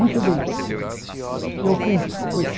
Muito bem, eu cumpro com esse.